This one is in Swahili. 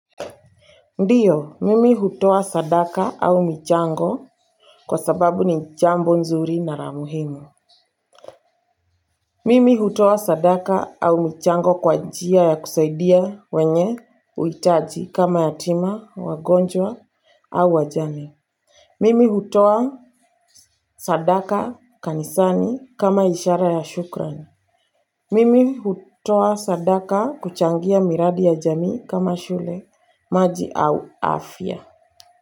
Ndiyo, mimi hutoa sadaka au michango kwa sababu ni jambo nzuri na la muhimu. Mimi hutoa sadaka au michango kwa njia ya kusaidia wenye uhitaji kama yatima, wagonjwa au wajane. Mimi hutoa sadaka kanisani kama ishara ya shukran. Mimi hutoa sadaka kuchangia miradi ya jamii kama shule, maji au afya.